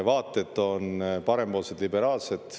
Vaated on parempoolsed, liberaalsed.